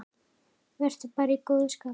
Vertu bara í góðu skapi.